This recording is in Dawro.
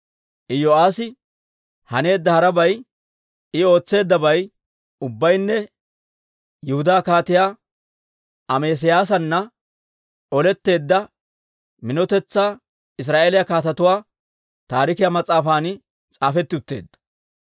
Iyo'aassi haneedda harabay, I ootseeddabay ubbaynne Yihudaa Kaatiyaa Amesiyaasana oletteedda minotetsaa Israa'eeliyaa Kaatetuwaa taarikiyaa mas'aafan s'aafetti utteedda.